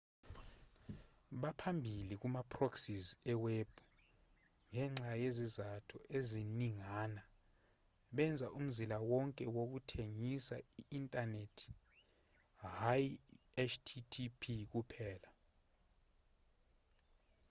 baphambili kuma proxies eweb ngenxa yezizathu eziningana benza umzila wonke wokuthengisa i-inthanethi hhayi i-http kuphela